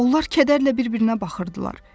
Onlar kədərlə bir-birinə baxırdılar.